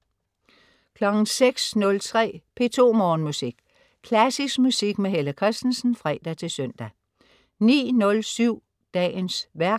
06.03 P2 Morgenmusik. Klassisk musik med Helle Kristensen (fre-søn) 09.07 Dagens værk